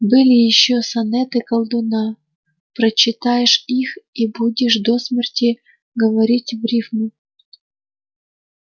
были ещё сонеты колдуна прочитаешь их и будешь до смерти говорить в рифму